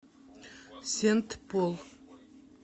сент пол